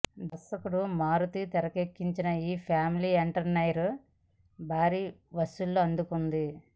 దర్శకుడు మారుతీ తెరకెక్కించిన ఈ ఫ్యామిలీ ఎంటర్టైనర్ భారీ వసూళ్లు అందుకుంది